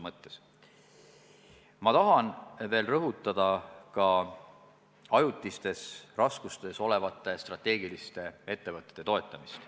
Ma tahan veel rõhutada ka ajutistes raskustes olevate strateegiliste ettevõtete toetamist.